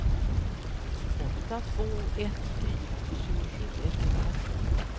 åtta två ett fyra tjugosju etthundratvå